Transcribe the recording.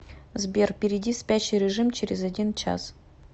сбер перейди в спящий режим через один час